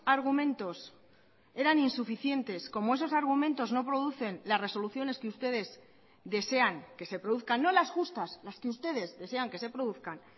argumentos eran insuficientes como esos argumentos no producen las resoluciones que ustedes desean que se produzcan no las justas las que ustedes desean que se produzcan